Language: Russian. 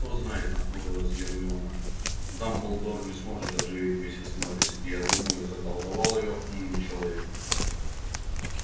кто знает нахмурилась гермиона дамблдор не сможет оживить миссис норрис и я думаю заколдовал её умный человек